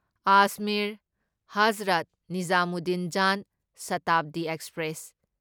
Ajmer Hazrat Nizamuddin Jan Shatabdi express